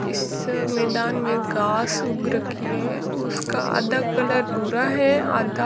इस मैदान में घास उग रखी है उसका आधा कलर भूरा है आधा--